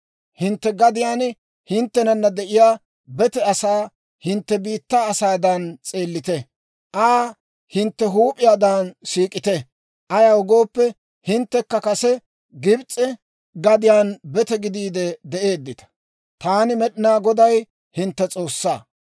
Hintte gadiyaan hinttenana de'iyaa bete asaa hintte biittaa asaadan s'eellite; Aa hintte huup'iyaadan siik'ite. Ayaw gooppe, hinttekka kase Gibs'e gadiyaan bete gidiide de'eeddita. Taani, Med'inaa Goday, hintte S'oossaa.